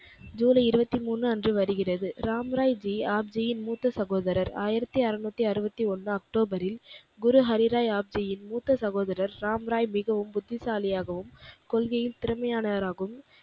ஜூலை இருபத்து மூன்று அன்று வருகிறது. ராம்ராய் ஜி ஆப் ஜியின் மூத்த சகோதரர். ஆயிரத்தி அருநூற்றி அறுபத்தி ஒன்றில் அக்டோபரில் குரு ஹரி ராய் ஆப்ஜியின் மூத்த சகோதரர் ராம்ராய் மிகவும் புத்திசாலியாகவும், கொள்கையில் திறமையானவராகவும்